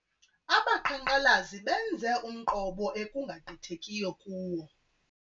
Abaqhankqalazi benze umqobo ekungagqithekiyo kuwo.